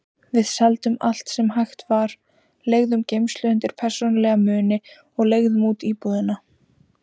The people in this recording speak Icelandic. Við seldum allt sem hægt var, leigðum geymslu undir persónulega muni og leigðum út íbúðina.